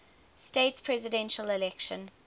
states presidential election